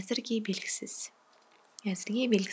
әзірге белгісіз